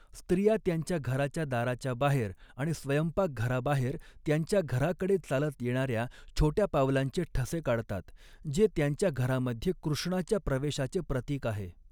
स्त्रिया त्यांच्या घराच्या दाराच्या बाहेर आणि स्वयंपाकघराबाहेर त्यांच्या घराकडे चालत येणाऱ्या छोट्या पावलांचे ठसे काढतात, जे त्यांच्या घरामध्ये कृष्णाच्या प्रवेशाचे प्रतीक आहे.